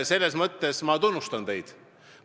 Selles mõttes ma tunnustan teid.